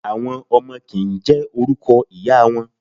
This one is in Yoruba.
Àwọn ọmọ kì ń jẹ́ orúkọ ìyá wọn.